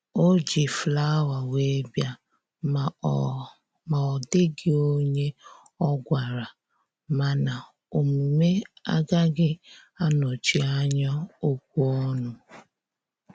O ji flawa wee bịa ma ọ ma ọ dịghị onye ọ gwara, mana omume agaghị anọchi anya okwu ọnụ